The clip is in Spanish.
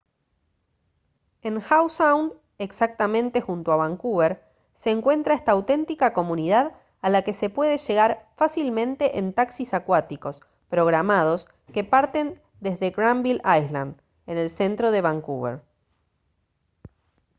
en howe sound exactamente junto a vancouver se encuentra esta auténtica comunidad a la que se puede llegar fácilmente en taxis acuáticos programados que parten desde granville island en el centro de vancouver